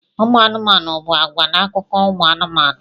Ụmụ anụmanụ bụ àgwà n'akụkọ ụmụ anụmanụ.